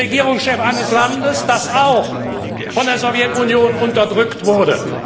Das ist der Regierungschef eines Landes, das auch von der Sowjetunion unterdrückt wurde.